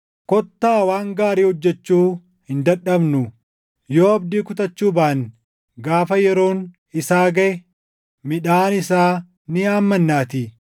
Kottaa waan gaarii hojjechuu hin dadhabnu; yoo abdii kutachuu baanne gaafa yeroon isaa gaʼe midhaan isaa ni haammannaatii.